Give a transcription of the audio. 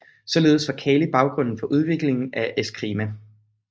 Således var Kali baggrunden for udviklingen af Escrima